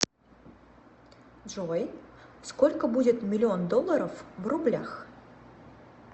джой сколько будет миллион долларов в рублях